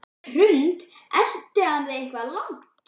Hrund: Elti hann þig eitthvað langt?